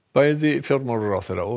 bæði fjármálaráðherra og